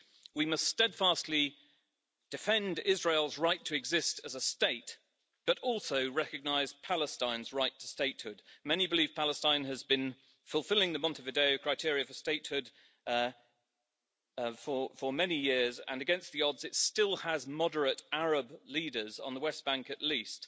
We must steadfastly defend Israel's right to exist as a state, but also recognize Palestine's right to statehood. Many believe Palestine has been fulfilling the Montevideo criteria for statehood for many years and, against the odds, it still has moderate Arab leaders on the West Bank at least.